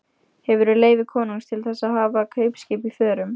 Hefurðu leyfi konungs til þess að hafa kaupskip í förum?